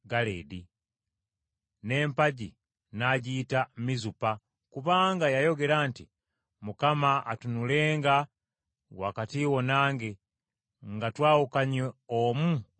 n’empagi n’agiyita Mizupa, kubanga yayogera nti, “ Mukama atunulenga wakati wo nange, nga twawukanye omu okuva ku munne.